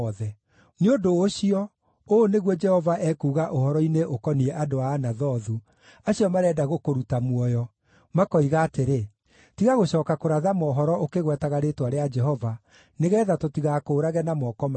“Nĩ ũndũ ũcio, ũũ nĩguo Jehova ekuuga ũhoro-inĩ ũkoniĩ andũ a Anathothu, acio marenda gũkũruta muoyo, makoiga atĩrĩ, ‘Tiga gũcooka kũratha mohoro ũkĩgwetaga rĩĩtwa rĩa Jehova, nĩgeetha tũtigakũũrage na moko maitũ’;